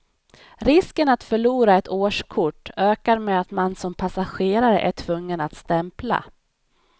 Risken att förlora ett årskort ökar med att man som passagerare är tvungen att stämpla.